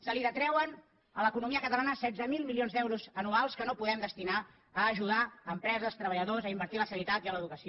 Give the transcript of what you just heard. es detreuen a l’economia catalana setze mil milions d’euros anuals que no podem destinar a ajudar empreses treballadors a invertir en la sanitat i en l’educació